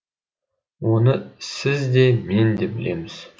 оны сіз де мен де білеміз